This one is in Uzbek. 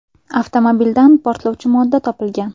Avtomobildan portlovchi modda topilgan.